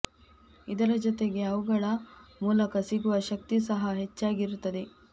ಇದರ ಜತೆಗೆ ಅವುಗಳ ಮೂಲಕ ಸಿಗುವ ಶಕ್ತಿ ಸಹ ಹೆಚ್ಚಾಗಿ ಇರುತ್ತದೆ